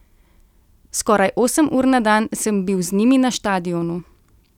Skoraj osem ur na dan sem bil z njimi na štadionu.